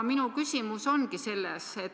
Minu küsimus ongi selline.